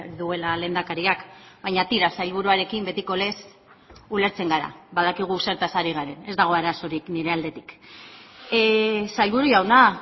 duela lehendakariak baina tira sailburuarekin betiko lez ulertzen gara badakigu zertaz ari garen ez dago arazorik nire aldetik sailburu jauna